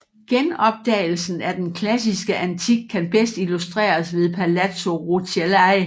Genopdagelsen af den klassiske antik kan bedst illustreres ved Palazzo Rucellai